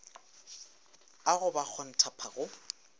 a go ba kgontpha go